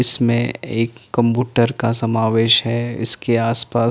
इसमें एक कंप्यूटर समावेश है इसके आस पास --